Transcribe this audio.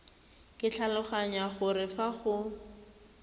ke tlhaloganya gore fa go